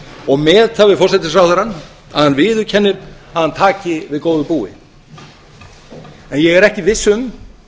og met það við forsætisráðherrann að hann viðurkennir að hann taki við góðu búi en ég er ekki viss um